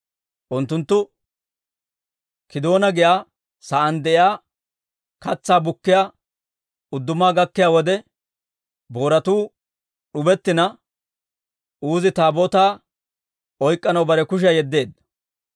Unttunttu Kiidoona giyaa saan de'iyaa katsaa bukkiyaa udduma gakkiyaa wode, booratuu d'ubettina, Uuzi Taabootaa oyk'k'anaw bare kushiyaa yeddeedda.